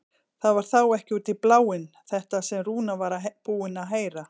Það var þá ekki út í bláinn þetta sem Rúna var búin að heyra!